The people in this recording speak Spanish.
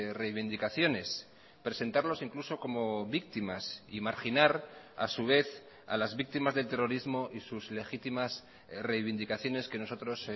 reivindicaciones presentarlos incluso como víctimas y marginar a su vez a las víctimas del terrorismo y sus legitimas reivindicaciones que nosotros